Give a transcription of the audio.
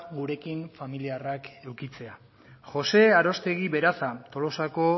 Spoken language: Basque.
gurekin familiarrak edukitzea jose aroztegi beraza tolosako